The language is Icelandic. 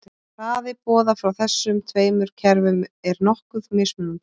Hraði boða frá þessum tveimur kerfum er nokkuð mismunandi.